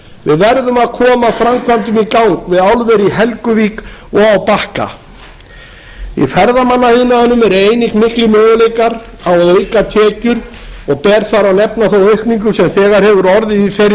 við verðum að koma framkvæmdum í gang við álver í helguvík og á bakka í ferðamannaiðnaðinum eru miklir möguleikar á að auka tekjur og ber þar að nefna þá aukningu sem þegar hefur orðið í þeirri grein